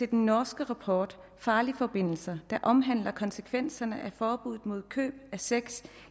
den norske rapport farlige forbindelser der omhandler konsekvenserne af forbuddet mod køb af sex